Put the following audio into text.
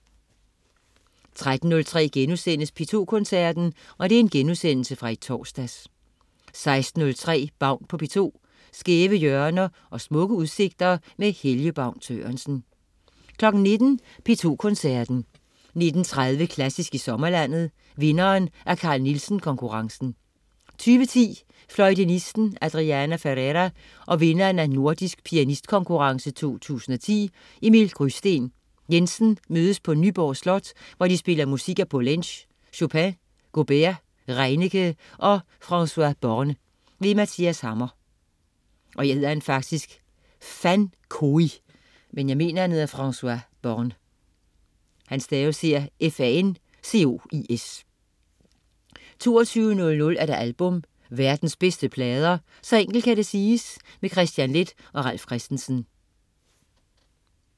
13.03 P2 Koncerten.* Genudsendelse fra i torsdags 16.03 Baun på P2. Skæve hjørner og smukke udsigter med Helge Baun Sørensen 19.00 P2 Koncerten. 19.30 Klassisk i sommerlandet. Vinderen af Carl Nielsen Konkurrencen 2010, fløjtenisten Adriana Ferreira og vinderen af Nordisk Pianistkonkurrence 2010 Emil Grysten Jensen mødes på Nyborg Slot, hvor de spiller musik af Poulenc, Chopin, Gaubert, Reinicke og Fancois Borne. Mathias Hammer 22.00 Album. Verdens bedste plader. Så enkelt kan det siges. Kristian Leth og Ralf Christensen